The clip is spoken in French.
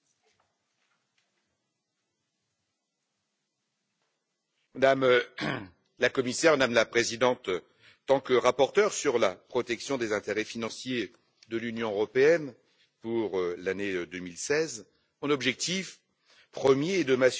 Madame la Commissaire, Madame la Présidente, en tant que rapporteur sur la protection des intérêts financiers de l'Union européenne pour l'année 2016, mon objectif premier est de m'assurer que l'argent public venu des contribuables est correctement